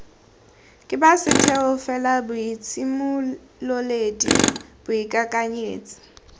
ke ba setheo felaboitshimololedi boikakanyetsi